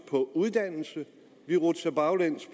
for uddannelse vi rutsjer baglæns